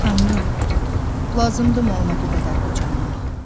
Tanrım, lazımdımı ona bu qədər qocalmaq?